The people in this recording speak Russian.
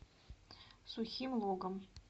сухим логом